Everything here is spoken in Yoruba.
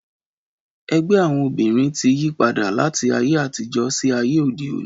Ẹgbẹ́ àwọn obìrin tí yípadà láti ayé àtijó sí ayé òde òni